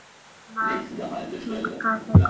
Gunnar kinkaði kolli.